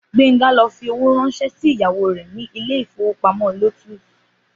Gbénga lọ fi owó ránṣẹ́ sí ìyàwó rẹ̀ ni ilé ìfowópamọ́ Lotus